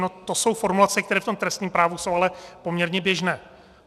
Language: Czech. No to jsou formulace, které v tom trestním právu jsou ale poměrně běžné.